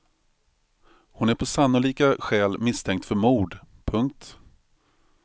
Hon är på sannolika skäl misstänkt för mord. punkt